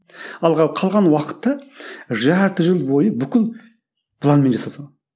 ал қалған уақытта жарты жыл бойы бүкіл планмен жасап салған